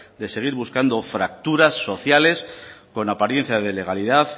de seguir buscando fracturas sociales con apariencia de legalidad